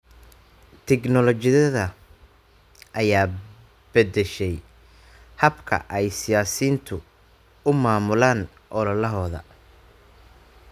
Tignoolajiyada ayaa bedeshay habka ay siyaasiyiintu u maamulaan ololahooda.